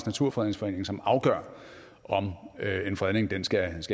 naturfredningsforening som afgør om en fredning skal